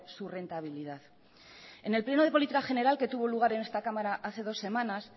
su rentabilidad en el pleno de política general que tuvo lugar en esta cámara hace dos semanas